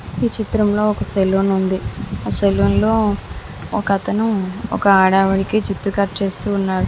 ఈ చిత్రం లో ఒక సలోన్ ఉంది ఆ సలోన్ లో ఒక అతను ఒక ఆడ ఆమెకి జుట్టు కట్ చేస్తున్నాడు .